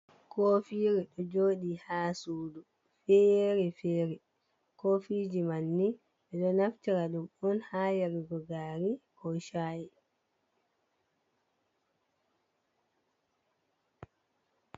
Kofiru ɗo joɗi ha sudu fere fere, kofiji man ni ɓeɗo naftira ɗum on ha yarugo gari, ko Shai.